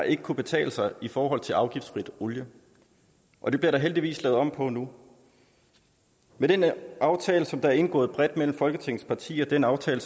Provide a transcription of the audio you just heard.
ikke kunnet betale sig i forhold til afgiftsfri olie og det bliver der heldigvis lavet om på nu med den aftale der er indgået bredt mellem folketingets partier den aftale